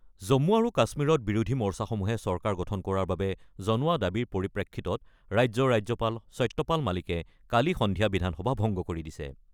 জম্মু আৰু কাশ্মীৰত বিৰোধী মৰ্চাসমূহে চৰকাৰ গঠন কৰাৰ বাবে জনোৱা দাবীৰ পৰিপ্ৰেক্ষিতত ৰাজ্যৰ ৰাজ্যপাল সত্যপাল মালিকে কালি সন্ধিয়া বিধানসভা ভংগ কৰি দিছে।